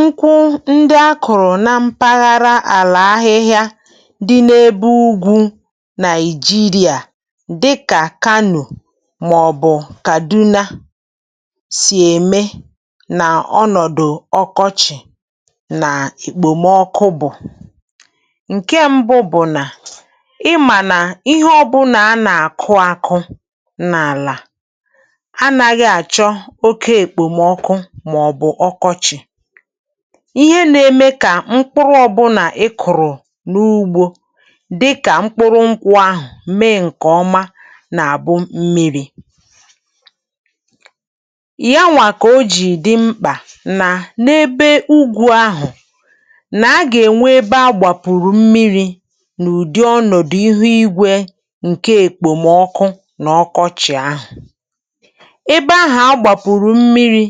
Nkwụ ndị a kụ̀rụ̀ n’ala ahịhịa ndị ugwu Naịjíríà, dịkà Kano maọ̀bụ Kaduna, na-enweta ọnọdụ ụfọdụ n’oge ọkọchị̀ na n’oge okpomọkụ. Ihe mbụ bụ̀ na ị gà-àmà nà ihe ọbụla e kụ̀rọ̀ n’ala, ọ bụrụ na ọ bụ n’oge ọkọchị̀, ụzọ ọ gà-esi dịrị ndụ̀ dábere na mmìrì, dábere na mmìrì. Nke a bụ n’ihi ya ka mmìrì dị mkpa. N’ebe ugwu, e kwesiri inwe ebe a na-anakọta mmìrì, ebe a na-echekwa mmìrì n’ọnụ̀dụ̀. Ụ̀dụ̀ mmìrì ndị a ka e ji n’oge ọkọchị̀ na n’oge okpomọkụ. Site n’ebe ndị ahụ̀, a na-ewere mmìrì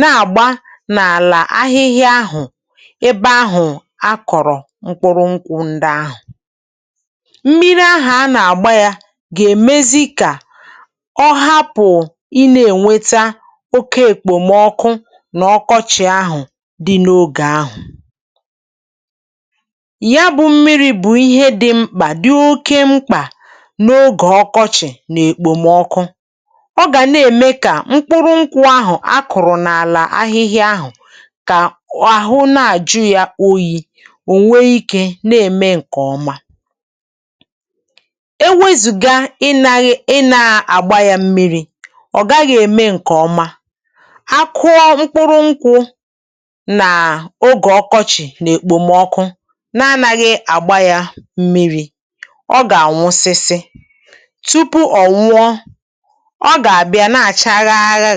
ma duzie ya n’ala ahịhịa ebe e kụ̀rụ̀ nkwụ. Mmìrì a e nyere ha na-enyere aka belata mmetụta okpomọkụ siri ike n’oge ahụ̀. Nke a bụ n’ihi ya ka mmìrì dị mkpa, dị mkpa, dị oke mkpa n’oge ọkọchị̀. Ọ na-enyere mkpụrụ̀ nkwụ ndị a kụ̀rụ̀ n’ala ahịhịa ka ha bụrụ ọhụrụ, ka ha bụrụ ike, ma too nke ọma. Enweghị ịṅụnye ha mmìrì, ha agaghị eme nke ọma, ha agaghị eme nke ọma. Ọ bụrụ na e kụ̀rụ̀ mkpụrụ̀ nkwụ n’oge ọkọchị̀ na n’oge okpomọkụ na-enweghị ịṅụnye ha mmìrì, ha gà-ànwụsị, ha gà-ànwụsị, ha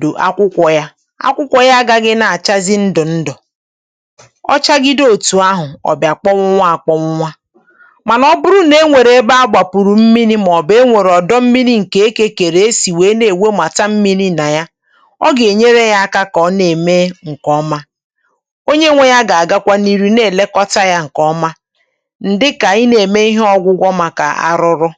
gà-àkpụcha. Akwụkwọ ha gà-amalite ịdaba, ha gà-efù agba ndụ̀ ndụ̀, efù agba ndụ̀ ndụ̀, ma gbanwee kpamkpam bụrụ odò odò ma kpụchie kpamkpam. Mànà ọ bụrụ na e nwe ebe mmìrì dị, maọ̀bụ ọdọ̀ mmìrì dị nso, a pụrụ ịṅụnye ha mmìrì, nke a gà-enyere ha ka ha mee nke ọma, mee nke ọma. um Onye nwe ugbò ahụ̀ gà-anọkwa na-èrí ha nri àlà na na-elekọta ha nke ọma. Nke a bụ ọrụ ọzọ dị mkpa, ọrụ ọzọ dị mkpa.